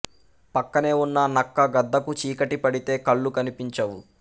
పక్కనే ఉన్న నక్క గద్దకు చీకటి పడితే కళ్ళు కనిపించవు